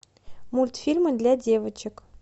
мультфильмы для девочек